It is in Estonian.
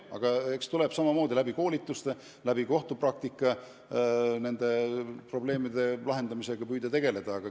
Aga eks tuleb püüda koolituste toel ja kohtupraktika edenedes nende probleemide lahendamisega tegeleda.